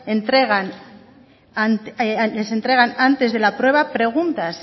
les entregan antes de la prueba preguntas